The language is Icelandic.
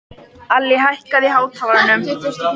Allý, hækkaðu í hátalaranum.